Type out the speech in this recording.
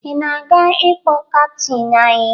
Ị na-aga ịkpọ kaptịn anyị?